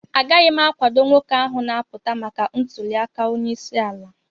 Agaghị m akwado nwoke ahụ na-apụta maka ntuliaka onyeisi ala